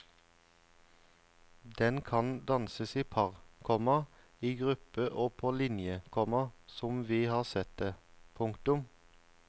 Den kan danses i par, komma i gruppe og på linje, komma som vi har sett det. punktum